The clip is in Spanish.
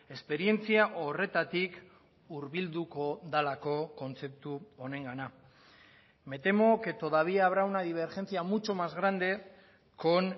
esperientzia horretatik hurbilduko delako kontzeptu honengana me temo que todavía habrá una divergencia mucho más grande con